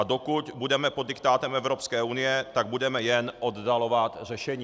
A dokud budeme pod diktátem Evropské unie, tak budeme jen oddalovat řešení.